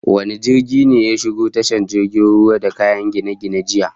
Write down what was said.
Wane jirgin ne ya shigo tashar jirgin ruwan da kayan gine-gine jiya?